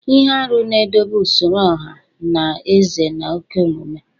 .Ihe arụ na-edobe usoro ọha na eze na oke omume